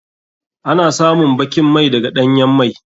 Ana samun bakin mai daga ɗanyan mai.